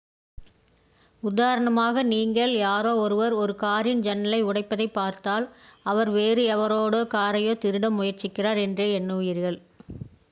உதாரணமாக நீங்கள் யாரோ ஒருவர் ஒரு காரின் ஜன்னலை உடைப்பதைப் பார்த்தால் அவர் வேறு எவருடைய காரையோ திருட முயற்சிக்கிறார் என்றே எண்ணுவீர்கள்